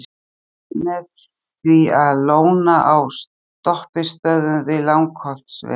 Sundið með því að lóna á stoppistöðvum við Langholtsveg.